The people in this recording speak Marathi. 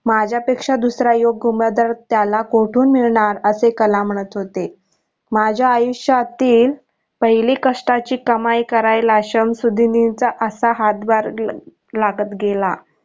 माझ्या पेक्षा दुसरा योग्य उमेदवार त्याला कोठून मिळणार असे कलाम म्हणत होते माझ्या आयुष्यातील पहिली कष्टाची कमी करायला शमसुद्धीनील चा असा हात भार लागत गेला.